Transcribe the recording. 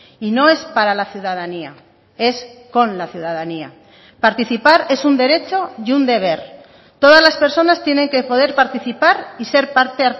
y no es para la ciudadanía es con la ciudadanía participar es un derecho y un deber todas las personas tienen que poder participar y ser parte